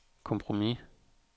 kompromis